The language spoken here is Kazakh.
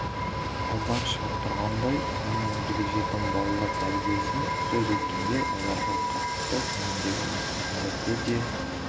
алдан шығып тұрғандай сонымен бірге жетім балалар тәрбиесін сөз еткенде оларға қатысты төмендегі мәселелерді де